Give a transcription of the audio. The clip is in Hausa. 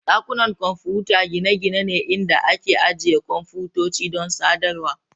Dakunan kwamfuta gine-gine ne inda ake ajiye kwamfutoci don sadarwar.